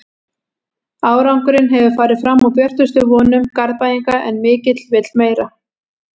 Árangurinn hefur farið fram úr björtustu vonum Garðbæinga en mikill vill meira.